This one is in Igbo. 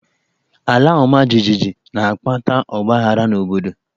Alaọmajijiji na-akpata ọgbaaghara n'obodo.